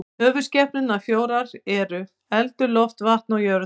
Höfuðskepnurnar fjórar eru eldur, loft, vatn og jörð.